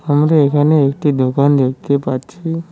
আমরা এখানে একটি দোকান দেখতে পাচ্ছি।